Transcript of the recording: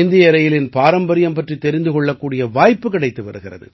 இந்திய ரயிலின் பாரம்பரியம் பற்றித் தெரிந்து கொள்ளக்கூடிய வாய்ப்பு கிடைத்து வருகிறது